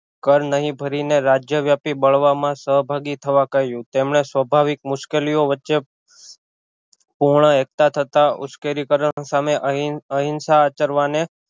કર નહિ ભરી ને રાજ્યવ્યાપી બળવા માં સહભાગી થવા કહ્યું તેમણે સ્વાભાવિક મુશકિલી ઑ વચ્ચે પૂર્ણ એકઢા થતાં ઉશ્કેરિકર્ણ સામે અહિ અહિસા આચરવાને